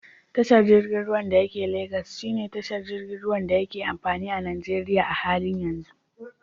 Tashar jirgin ruwan da yake Lagos shine tashar da yake amfani a Najeriya a halin yanzu.